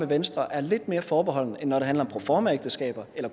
venstre er lidt mere forbeholden end når det handler om proformaægteskaber eller